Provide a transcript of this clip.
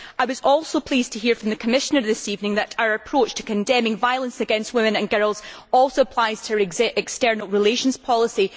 I was also pleased to hear from the Commissioner this evening that our approach to condemning violence against women and girls also applies to her external relations policy.